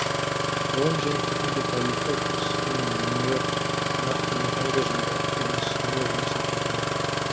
ғылым және техника тарихы институты мен ленинград нақты механика жене оптика институтында жұмыс атқарған